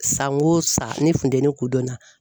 San o san ne funtɛnni kun dɔnna.